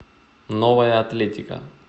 новая атлетика